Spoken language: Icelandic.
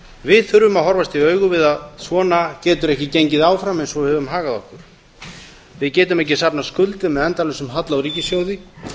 við þurfum að horfast í augu við að svona getur ekki gengið áfram eins og við höfum hagað okkur við getum ekki safnað skuldum með endalausum halla á ríkissjóði